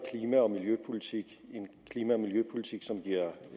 klima og miljøpolitik en klima og miljøpolitik som giver